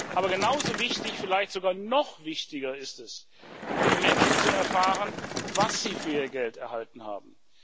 Aber genauso wichtig vielleicht sogar noch wichtiger ist es für die Menschen, zu erfahren, was sie für ihr Geld erhalten haben.